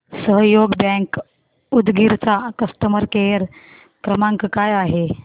सहयोग बँक उदगीर चा customer care क्रमांक काय आहे